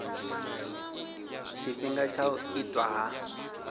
tshifhinga tsha u itwa ha